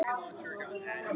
Er þetta ekki komið gott?